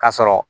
K'a sɔrɔ